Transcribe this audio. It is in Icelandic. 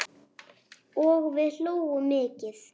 Og við hlógum mikið.